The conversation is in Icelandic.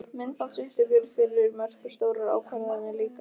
Myndbandsupptökur fyrir mörk og stórar ákvarðanir líka?